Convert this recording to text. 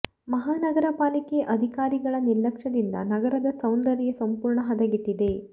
ಮಹಾನಗರ ಪಾಲಿಕೆ ಅಧಿಕಾರಿಗಳ ನಿರ್ಲಕ್ಷ್ಯ ದಿಂದ ನಗರದ ಸೌಂದರ್ಯ ಸಂಪೂರ್ಣ ಹದಗೆಟ್ಟಿದೆ